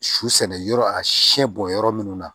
Su sɛnɛ yɔrɔ a siɲɛ bɔ yɔrɔ minnu na